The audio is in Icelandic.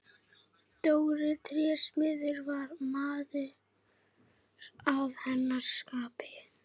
Dóri trésmiður var maður að hennar skapi.